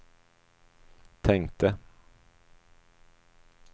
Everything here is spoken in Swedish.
tänkte